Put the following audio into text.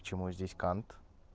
почему здесь кант